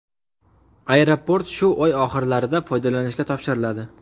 Aeroport shu oy oxirlarida foydalanishga topshiriladi.